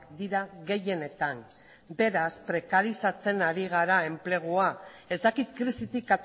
dira gehienetan beraz prekarizatzen ari gara enplegua ez dakit krisitik